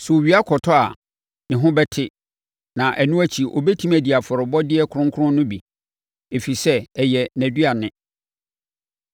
Sɛ owia kɔtɔ a, ne ho bɛte na ɛno akyi ɔbɛtumi adi afɔrebɔdeɛ kronkron no bi, ɛfiri sɛ, ɛyɛ nʼaduane.